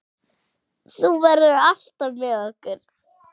Þú verður alltaf með okkur.